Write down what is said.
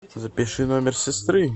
запиши номер сестры